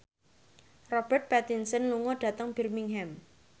Robert Pattinson lunga dhateng Birmingham